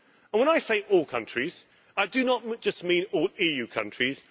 When I say all countries, I do not just mean all EU countries.